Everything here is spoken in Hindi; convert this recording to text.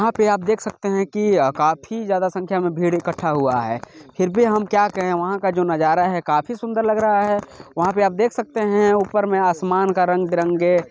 यहाँ पे आप देख सकते है की काफि ज्यादा संख्या में भीड़ इक्कठा हुआ है। फिर भी हम क्या कहे वहाँ का जो नजारा है। काफी सुन्दर लग रहा है। वहाँ पे आप देख सकते है ऊपर में आसमान का रंग बिरंगे--